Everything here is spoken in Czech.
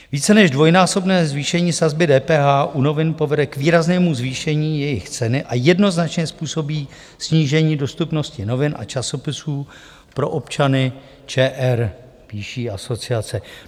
Více než dvojnásobné zvýšení sazby DPH u novin povede k výraznému zvýšení jejich ceny a jednoznačně způsobí snížení dostupnosti novin a časopisů pro občany ČR, píší asociace.